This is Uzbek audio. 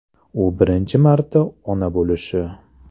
U birinchi marta ona bo‘lishi.